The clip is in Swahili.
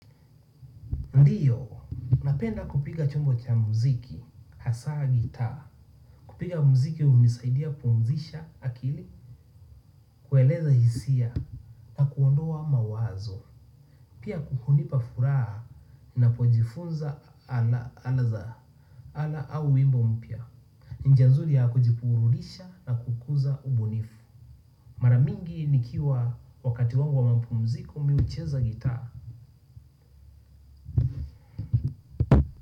Ndio kupiga chombo cha muziki hasaa gitaa kupiga mziki hunisaidia kupumzisha akili, kueleza hisia na kuondoa mawazo. Pia hunipa furaha ninapojifunza ala za, ala au wimbo mpya. Njia nzuri ya kujiburudisha na kukuza ubunifu. Maramingi nikiwa wakati wangu wa mapumziko mimi hucheza gitaa.